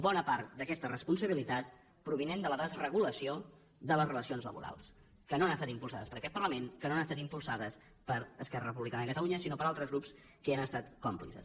bona part d’aquesta responsabilitat prové de la desregulació de les relacions laborals que no han estat impulsades per aquest parlament que no han estat impulsades per esquerra republicana de catalunya sinó per altres grups que n’han estat còmplices